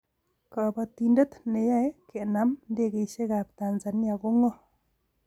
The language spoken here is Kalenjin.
Kabatindet ne yae kenam ndekeisiekab Tazania ko ng'o?